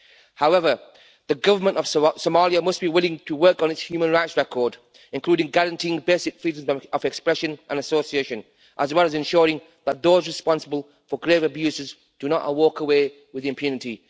However the government of Somalia must be willing to work on its human rights record, including guaranteeing the basic freedoms of expression and association, as well as ensuring that those responsible for grave abuses do not walk away with impunity.